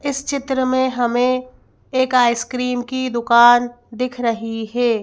इस चित्र में हमें एक आइसक्रीम की दुकान दिख रही है।